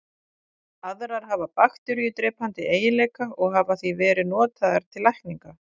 Aðrar hafa bakteríudrepandi eiginleika og hafa því verið notaðar til lækninga.